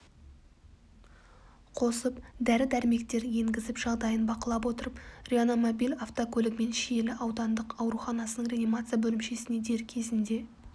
қосып дәрі-дәрмектер енгізіп жағдайын бақылап отырып реанимобиль автокөлігімен шиелі аудандық ауруханасының реанимация бөлімшесіне дер кезінде